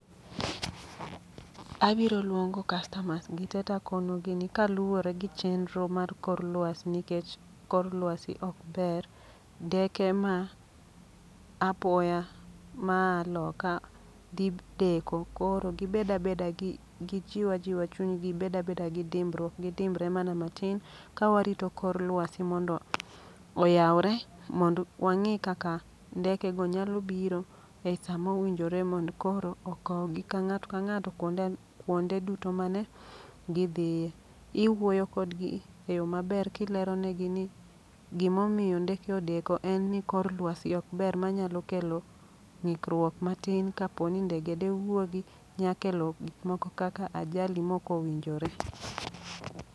Abiro luongo kastamas gi te takonogi ni kaluwore gi chendro mar kor lwasi, nikech kor lwasi ok ber. Ndeke ma apoya maa loka dhi deko koro gibeda beda gi gijiw ajiwa chuny gi. Gibed abeda gi dimbruok, gidimbre mana matin, ka warito kor lwasi mondo oyawre. Mondo wang'i kaka ndeke go nyalo biro ei samo winjore mondo koro okow gi ka ng'ato ka ng'ato kuonde kuonde duto mane gidhiye. Iwuoyo kodgi e yo maber kileronegi ni gimomiyo ndeke odeko en ni kor lwasi ok ber. Ma nyalo kelo ng'ikruok matin kaponi ndege de wuogi nyakelo gik moko kake ajali moko winjore.